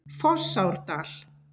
Fossárdal